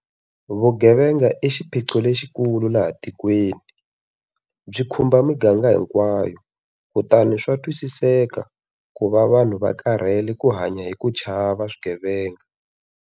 Vugevenga i xiphiqo lexikulu laha tikweni. Byi khumba miganga hinkwayo kutani swa twisiseka ku va vanhu va karhele ku hanya hi ku chava swigevenga.